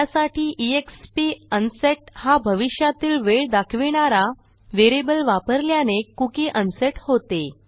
त्यासाठी एक्स्प अनसेट हा भविष्यातील वेळ दाखविणारा व्हेरिएबल वापरल्याने कुकी अनसेट होते